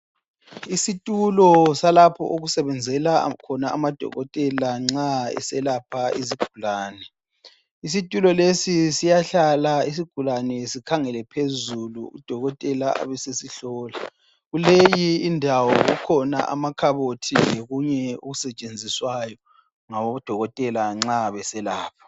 Isitulo salapho okusebenzela khona amadokotela nxa eselapha izigulane. Isitulo lesi siyahlala isigulane sikhangele phezulu, udokotela abesesihlola. Kuleyi indawo kukhona amakhabothi lokunye okusetshenziswayo ngabodokotela nxa beselapha.